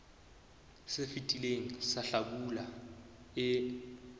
se fetileng sa hlabula e